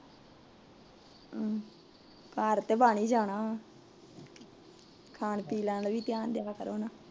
ਘੱਰ ਤੇ ਬਣ ਈ ਜਾਣਾ ਖਾਣ ਪੀਣ ਵਲ ਧਿਆਨ ਦਿਆ ਕਰੋ ਨਾ